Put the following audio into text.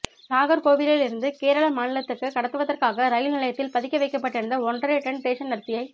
நாகா்கோவிலிலிருந்து கேரள மாநிலத்துக்கு கடத்துவதற்காக ரயில் நிலையத்தில் பதுக்கி வைக்கப்பட்டிருந்த ஒன்றரை டன் ரேஷன் அரிசியை